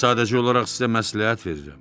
Mən sadəcə olaraq sizə məsləhət verirəm.